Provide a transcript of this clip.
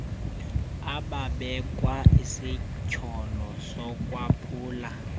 ababekwa isityholo sokwaphula